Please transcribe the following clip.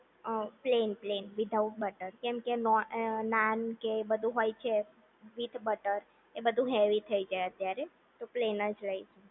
અ plain plain without butter કેમ કે નોન નાન કે એ બધું હોય છે વિથ બટર એ બધું એવી થઈ જાય અત્યારે તો પ્લેન જ લઈએ